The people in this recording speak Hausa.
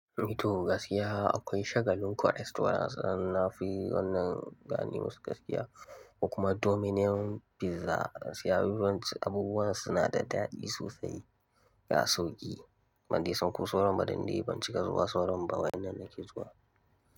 Eh to gaskiya akwai shagalin ko restaurants, na fi wannan gane masu gaskiya. Kuma Domino's pizza sai abubuwan suna da daɗi sosai. Ya sauƙi, ban dai san ko sauran ba dan dai ban cika zuwa sauran ba. Wa'yannan nake zuwa.